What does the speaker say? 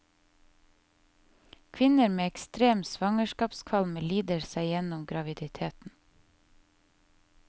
Kvinner med ekstrem svangerskapskvalme lider seg gjennom graviditeten.